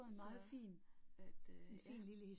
Så, at øh ja